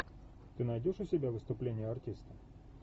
ты найдешь у себя выступление артиста